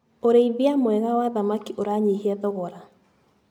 ũrĩithia mwega wa thamaki ũranyihia thogora.